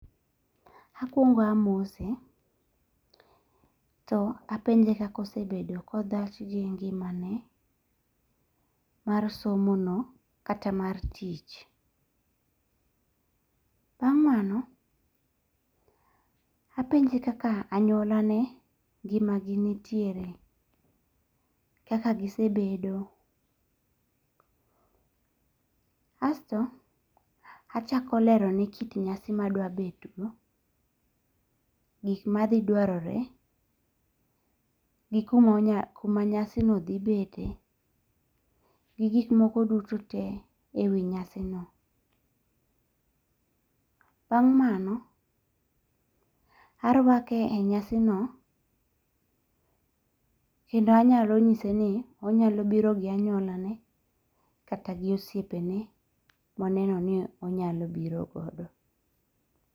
Akwongo amose. To apenje kaka osebedo kodhach gi ngimane mar somono kata mar tich. Bang' mano apenje kaka anyuola ne ngima gi nitiere. Kaka gisebedo. Asto achako lerone kit nyasi ma adwa betgo gik madhi dwarore gikuma nyasi no dhi bete gi gik moko duto te e wi nyasi no. Bang' mano, arwake e nyasi no kendo anyalo nyise ni onyalo biro gi anywola ne kata gi osiepene moneno ni onyalo biro godo.